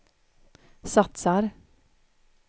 satsar